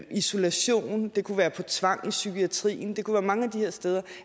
isolation det kunne være til tvang i psykiatrien det kunne være mange af de her steder og